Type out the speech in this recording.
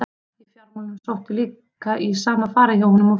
Í fjármálum sótti líka í sama farið hjá honum og fyrrum.